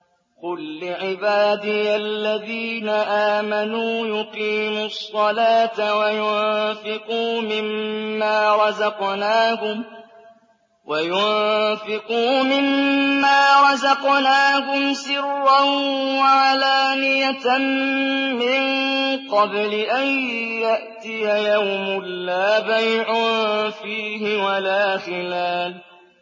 قُل لِّعِبَادِيَ الَّذِينَ آمَنُوا يُقِيمُوا الصَّلَاةَ وَيُنفِقُوا مِمَّا رَزَقْنَاهُمْ سِرًّا وَعَلَانِيَةً مِّن قَبْلِ أَن يَأْتِيَ يَوْمٌ لَّا بَيْعٌ فِيهِ وَلَا خِلَالٌ